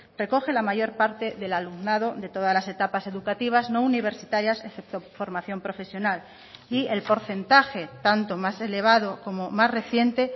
recoge la mayor parte del alumnado de todas las etapas educativas no universitarias excepto formación profesional y el porcentaje tanto más elevado como más reciente